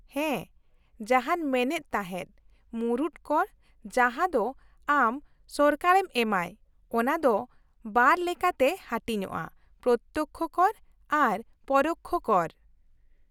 -ᱦᱮᱸ, ᱡᱟᱦᱟᱸᱧ ᱢᱮᱱᱮᱫ ᱛᱟᱦᱮᱸᱫ, ᱢᱩᱲᱩᱫ ᱠᱚᱨ, ᱡᱟᱦᱟᱸ ᱫᱚ ᱟᱢ ᱥᱚᱨᱠᱟᱨᱮᱢ ᱮᱢᱟᱭ, ᱚᱱᱟ ᱫᱚ ᱵᱟᱨ ᱞᱮᱠᱟᱛᱮ ᱦᱟᱹᱴᱤᱧᱼᱟ, ᱯᱨᱚᱛᱛᱚᱠᱽᱠᱷᱚ ᱠᱚᱨ ᱟᱨ ᱯᱚᱨᱳᱠᱽᱠᱷᱚ ᱠᱚᱨ ᱾